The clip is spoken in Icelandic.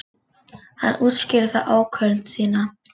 Hann útskýrði þá ákvörðun sína.